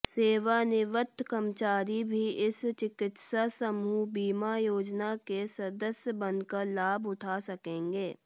सेवानिवृत्त कर्मचारी भी इस चिकित्सा समूह बीमा योजना के सदस्य बनकर लाभ उठा सकेंगे